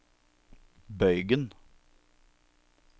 bøygen